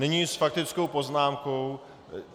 Nyní s faktickou poznámkou.